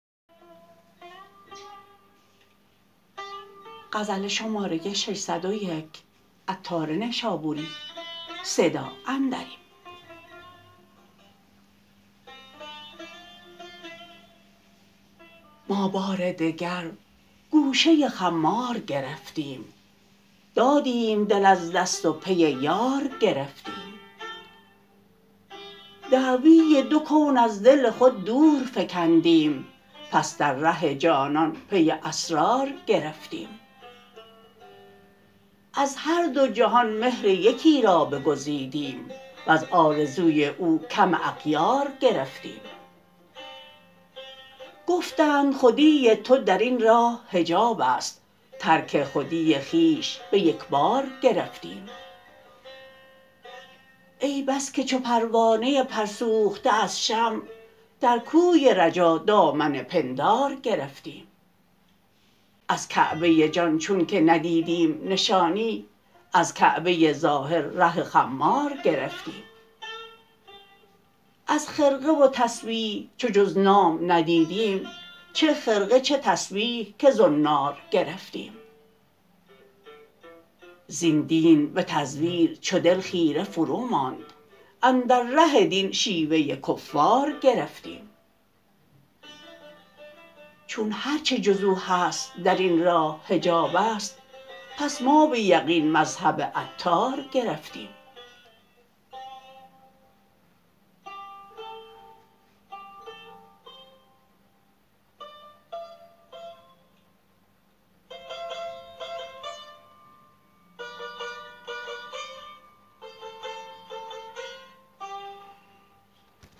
ما بار دگر گوشه خمار گرفتیم دادیم دل از دست و پی یار گرفتیم دعوی دو کون از دل خود دور فکندیم پس در ره جانان پی اسرار گرفتیم از هر دو جهان مهر یکی را بگزیدیم و از آرزوی او کم اغیار گرفتیم گفتند خودی تو درین راه حجاب است ترک خودی خویش به یکبار گرفتیم ای بس که چو پروانه پر سوخته از شمع در کوی رجا دامن پندار گرفتیم از کعبه جان چون که ندیدیم نشانی از کعبه ظاهر ره خمار گرفتیم از خرقه و تسبیح چو جز نام ندیدیم چه خرقه چه تسبیح که زنار گرفتیم زین دین به تزویر چو دل خیره فروماند اندر ره دین شیوه کفار گرفتیم چون هرچه جز او هست درین راه حجاب است پس ما به یقین مذهب عطار گرفتیم